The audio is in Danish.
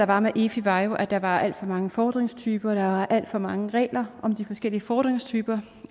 var med efi var at der var alt for mange fordringstyper der var alt for mange regler om de forskellige fordringstyper